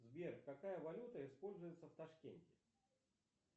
сбер какая валюта используется в ташкенте